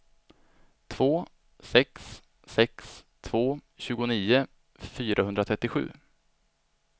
två sex sex två tjugonio fyrahundratrettiosju